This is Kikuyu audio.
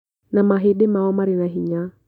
Na mahĩndĩ mao marĩ na hinya